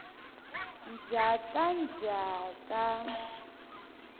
njhakanjhaka